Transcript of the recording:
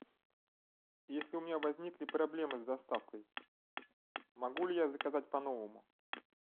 если у меня возникли проблемы с доставкой могу ли я заказать по новому